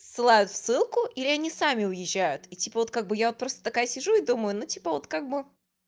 ссылаю ссылку или они сами уезжают и типа вот как бы я просто такая сижу и думаю но типа вот как бы